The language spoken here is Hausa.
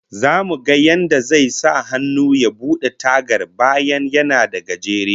Zamu ga yadda zai sahannu ya bude tagar, bayan yana dan gajere